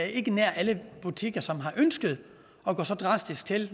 ikke er nær alle butikker som har ønsket at gå så drastisk til